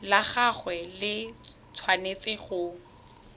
la gagwe le tshwanetse go